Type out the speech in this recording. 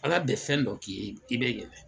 Aga bɛn fɛn dɔ k'i ye i be yɛlɛ